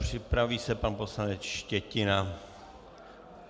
Připraví se pan poslanec Štětina.